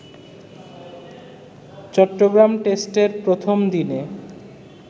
চট্টগ্রাম টেস্টের প্রথম দিনে